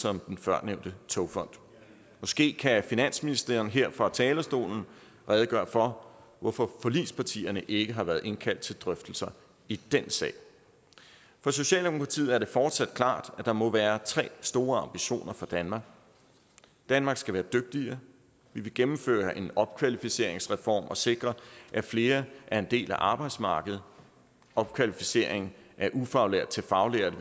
om den førnævnte togfond måske kan finansministeren her fra talerstolen redegøre for hvorfor forligspartierne ikke har været indkaldt til drøftelser i den sag for socialdemokratiet står det fortsat klart at der må være tre store ambitioner for danmark danmark skal være dygtigere vi vil gennemføre en opkvalificeringsreform og sikre at flere er en del af arbejdsmarkedet opkvalificering af ufaglærte til faglærte